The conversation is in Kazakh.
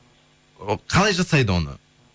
і қалай жасайды оны